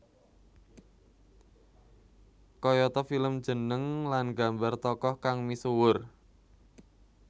Kayata film jeneng lan gambar tokoh kang misuwur